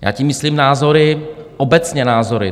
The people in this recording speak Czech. Já tím myslím názory, obecně názory.